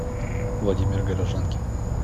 владимир горожанкин